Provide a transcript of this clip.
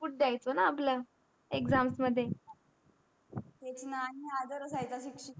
input द्यायचं न आपल एक्झाम मध्ये तेच ना आन्ही हजर असायचं.